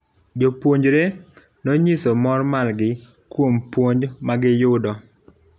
jopuonjre nonyiso mor margi kuom puonj magiyudo